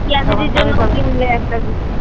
পিয়া দিদির জন্য কিনলে একটা